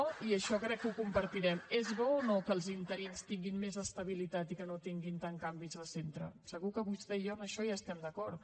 i això crec que ho compartirem és bo o no que els interins tinguin més estabilitat i que no tinguin tants canvis de centre segur que vostè i jo en això hi estem d’acord